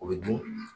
O bɛ dun